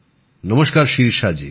নমস্কার শিরিষা জি